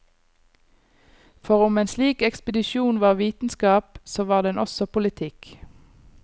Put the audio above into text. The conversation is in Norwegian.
For om en slik ekspedisjon var vitenskap, så var den også politikk.